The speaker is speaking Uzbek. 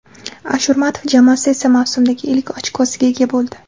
Ashurmatov jamoasi esa mavsumdagi ilk ochkosiga ega bo‘ldi.